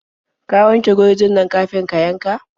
Ka wanke gurjin nan kafin ka yanka.